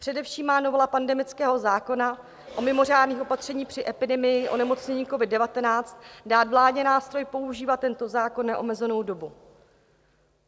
Především má novela pandemického zákona o mimořádných opatřeních při epidemii onemocnění covid-19 dát vládě nástroj používat tento zákon neomezenou dobu.